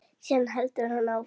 Síðan heldur hann áfram.